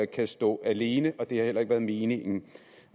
kan stå alene og det har heller ikke været meningen